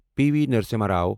P V Narasimha Rao